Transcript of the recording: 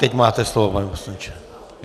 Teď máte slovo, pane poslanče.